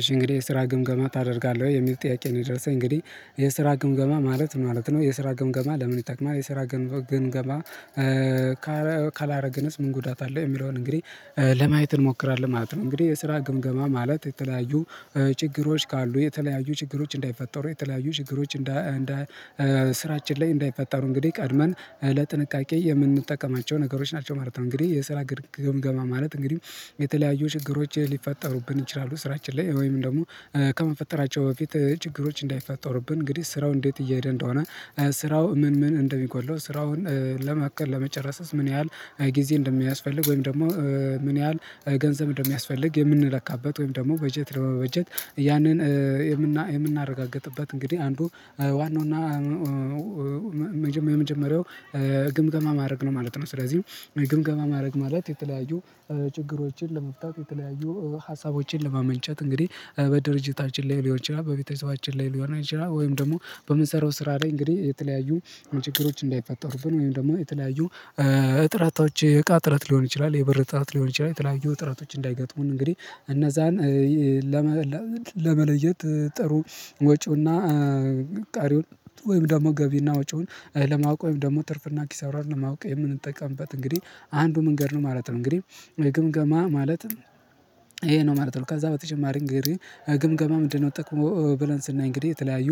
እሺ እንግዲህ የስራ ግምገማ ታደርጋለህ ወይ የሚል ጥያቄ ነው የደረሰኝ እንግዲህ የስራ ግምገማ ማለት ማለት ነው የስራ ግምገማ ለምን ይጠቅማል የስራ ግምገማ ካላደረግንስ ምን ጉዳት አለ? የሚለውን እንግዲህ ለማየት እንሞክራለን ማለት ነው። እንግዲህ የስራ ግምገማ ማለት የተለያዩ ችግሮች ካሉ የተለያዩ ችግሮች እንዳይፈጠሩ የተለያዩ ችግሮች እንዳ ስራችን ላይ እንዳይፈጠሩ እንግዲህ ቀድመን ለጥንቃቄ የምንጠቀማቸው ነገሮች ናቸው ማለት ነው። እንግዲህ የስራ ግምገማ ግምገማ ማለት እንግዲህ የተለያዩ ችግሮች ሊፈጠሩብን ይችላሉ ስራችን ላይ ወይም ደግሞ ከመፈጠራቸው በፊት ችግሮች እንዳይፈጠሩብን እንግዲህ ስራው እንዴት እየሄደ እንደሆነ ስራው ምን ምን እንደሚጎድለው ስራውን ለመቀል ለመጨረስ ምን ያህል ጊዜ እንደሚያስፈልግ ወይም ደግሞ ምን ያህል ገንዘብ እንደሚያስፈልግ የምንለካበት ወይም ደግሞ በጀት ለመበጀት ያንን የምናረጋግጥበት እንግዲህ አንዱ ዋናው እና የመጀመሪያው ግምገማ ማድረግ ነው ማለት ነው። ስለዚህ ግምገማ ማድረግ ማለት የተለያዩ ችግሮችን ለመፍታት የተለያዩ ሀሳቦችን ለማመንጨት እንግዲህ በድርጅታችን ላይ ሊሆን ይችላል በቤተሰባችን ላይ ሊሆን ይችላል ወይም ደግሞ በምንሰራው ስራ ላይ እንግዲህ የተለያዩ ችግሮች እንዳይፈጠሩብን ወይም ደግሞ የተለያዩ እጥረቶች የእቃ እጥረት ሊሆን ይችላል የብር እጥረት ሊሆን ይችላል የተለያዩ እጥረቶች እንዳይገጥሙን እንግዲህ እነዛን ለመለየት ጥሩ ወጪውና ቀሪውን ወይም ደግሞ ገቢና ወጪውን ለማወቅ ወይም ደግሞ ትርፍና ኪሳራን ለማወቅ የምንጠቀምበት እንግዲህ አንዱ መንገድ ነው ማለት ነው። እንግዲህ የግምገማ ማለት ይሄ ነው ማለት ነው ከዛ በተጨማሪ እንግዲህ ግምገማ ምንድነው ጥቅሙ? ብለን ስናይ እንግዲህ የተለያዩ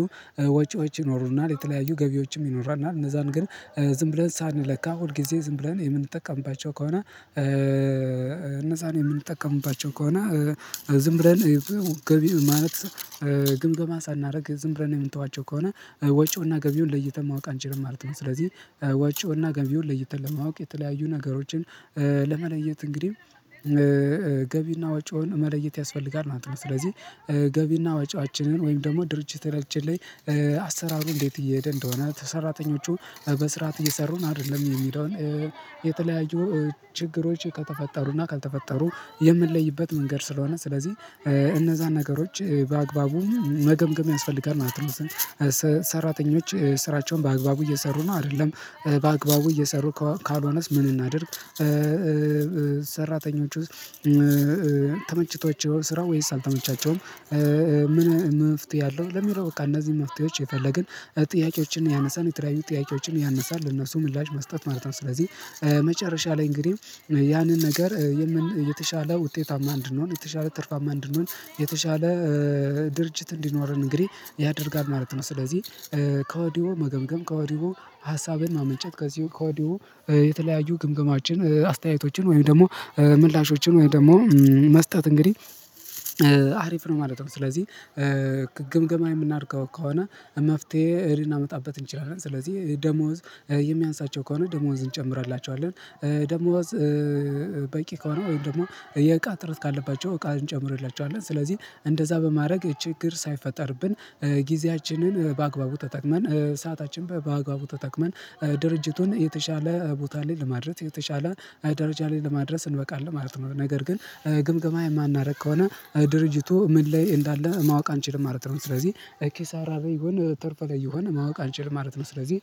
ወጪ ወጪ ይኖሩናል የተለያዩ ገቢዎችም ይኖራል እና እነዛን ግን ዝም ብለን ሳንለካ ሁል ጊዜ ዝም ብለን የምንጠቀምባቸው ከሆነ እነዛን የምንጠቀምባቸው ከሆነ ዝም ብለን የማለት ግምገማ ሳናደርግ ዝም ብለን የምንተዋቸው ከሆነ ወጪውና ገቢውን ለይተን ማወቅ አንችልም ማለት ነው። ስለዚህ ወጪውና ገቢውን ለይተን ለማወቅ የተለያዩ ነገሮችን ለመለየት እንግዲህ ገቢና ወጪውን መለየት ያስፈልጋል ማለት ነው። ስለዚህ ገቢና ወጪዋችንን ወይም ደግሞ ድርጅት ታችን ላይ አሰራሩ እንዴት እየሄደ እንደሆነ ሰራተኞቹ በስርዓት እየሰሩ ነው አይደለም የሚለውን የተለያዩ ችግሮች ከተፈጠሩና ካልተፈጠሩ የምንለይበት መንገድ ስለሆነ ስለዚህ እነዛን ነገሮች በአግባቡ መገምገም ያስፈልጋል ማለት ነው። ሰራተኞች ስራቸውን በአግባቡ እየሰሩ ነው አይደለም በአግባቡ እየሰሩ ካልሆነስ ምን እናድርግ? ሰራተኞቹ ተመችቷቸው ስራ ወይስ አልተመቻቸውም? ምን መፍትሄ አለው ለሚለው በቃ እነዚህ መፍትሄዎች የፈለግን ጥያቄዎችን ያነሳን የተለያዩ ጥያቄዎችን ያነሳን ለነሱ ምላሽ መስጠት ማለት ነው። ስለዚህ መጨረሻ ላይ እንግዲህ ያንን ነገር የተሻለ ውጤታማ እንድንሆን የተሻለ ትርፋማ እንድንሆን የተሻለ ድርጅት እንዲኖረን እንግዲህ ያደርጋል ማለት ነው ስለዚህ ከወዲሁ መገምገም ከወዲሁ ሀሳብን ማመንጨት ከዚሁ ከዋዲሁ የተለያዩ ግምገማዎችን አስተያየቶችን ወይም ደግሞ ምላሾችን ወይ ደግሞ መስጠት እንግዲህ አሪፍ ነው ማለት ነው። ስለዚህ ግምገማ የምናድገው ከሆነ መፍትሄ እህል አመጣበት እንችላለን ስለዚህ ደሞዝ የሚያንሳቸው ከሆነ ደሞዝ እንጨምራለን ደሞዝ በቂ ከሆነ ወይም ደግሞ የቃ እጥረት ካለባቸው እቃ እንጨምርላቸዋለን ስለዚህ እንደዛ በማድረግ ችግር ሳይፈጠርብን ጊዜያችንን በአግባቡ ተጠቅመን ሰዓታችን በአግባቡ ተጠቅመን ድርጅቱን የተሻለ ቦታ ላይ ለማድረግ የተሻለ ላይ ደረጃ ላይ ለማድረስ እንበቃለን ማለት ነው። ነገር ግን ግምገማ የማናደርግ ከሆነ ድርጅቱ ምን ላይ እንዳለ ማወቅ አንችልም ማለት ነው። ስለዚህ ኪሳራ ላይ ይሁን ትርፍ ላይ ይሁን ማወቅ አንችል ማለት ነው። ስለዚህ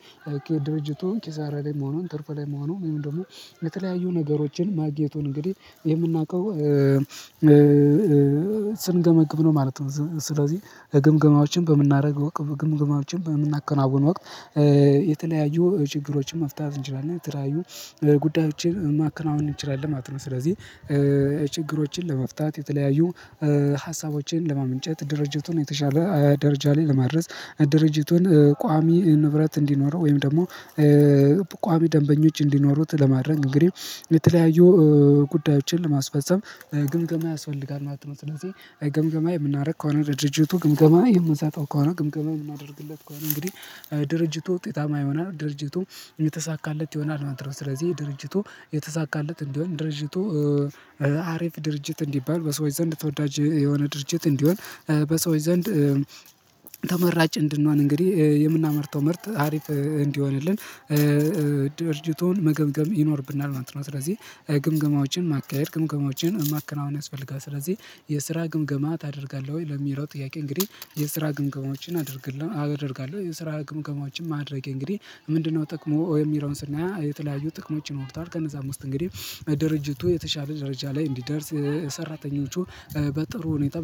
ድርጅቱ ኪሳራ ላይ መሆኑን ትርፍ ላይ መሆኑን ወይም ደግሞ የተለያዩ ነገሮችን ማግኘቱን እንግዲህ የምናውቀው ስንገመግብ ነው ማለት ነው። ስለዚህ ግምገማዎችን በምናደርግ ግምገማዎችን በምናከናውነው ወቅት የተለያዩ ችግሮችን መፍታት እንችላለን የተለያዩ ጉዳዮችን ማከናወን እንችላለን ማለት ነው። ስለዚህ ችግሮችን ለመፍታት የተለያዩ ሀሳቦችን ለማመንጨት ድርጅቱን የተሻለ ደረጃ ላይ ለማድረስ ድርጅቱን ቋሚ ንብረት እንዲኖረው ወይም ደግሞ ቋሚ ደንበኞች እንዲኖሩት ለማድረግ እንግዲህ የተለያዩ ጉዳዮችን ለማስፈፀም ግምገማ ያስፈልጋል ማለት ነው። ስለዚህ ግምገማ የምናደርግ ከሆነ ድርጅቱ ግምገማ የምትሰጠው ከሆነ ግምገማ የምታደርግለት ከሆነ እንግዲህ ድርጅቱ ውጤታማ ይሆናል ድርጅቱ የተሳካለት ይሆናል ማድረግ ስለዚህ ድርጅቱ የተሳካለት እንዲሆን ድርጅቱ አሪፍ ድርጅት እንዲባል በሰዎች ዘንድ ተወዳጅ የሆነ ድርጅት እንዲሆን በሰዎች ዘንድ ተመራጭ እንድንሆን እንግዲህ የምናመርተው ምርት ሀሪፍ እንዲሆንልን ድርጅቱን መገምገም ይኖርብናል ማለት ነው። ስለዚህ ግምገማዎችን ማካሄድ ግምገማዎችን ማከናወን ያስፈልጋል ስለዚህ የስራ ግምገማ ታደርጋለህ ወይ ለሚለው? ጥያቄ እንግዲህ የስራ ግምገማዎችን አድርግልን አደርጋለሁ የስራ ግምገማዎች ማድረጌ እንግዲህ ምንድነው ጥቅሙ የሚለውን ስናያ የተለያዩ ጥቅሞች ይኖሩታል። ከነዛ አምስት እንግዲህ ድርጅቱ የተሻለ ደረጃ ላይ እንዲደርስ ሰራተኞቹ በጥሩ ሁኔታ